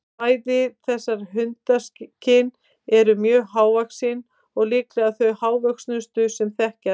Bæði þessar hundakyn eru mjög hávaxin og líklega þau hávöxnustu sem þekkjast.